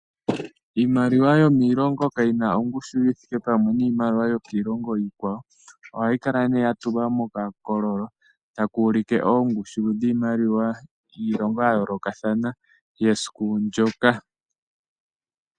Iimaliwa yo miilongo kayi na ongushu yithike pamwe niimaliwa yokiilongo iikwawo. Ohayi kala ne ya tulwa mokakoololo taka ulike oongushu dhiimaliwa yiilongo ya yoolokathana yesiku ndyoka.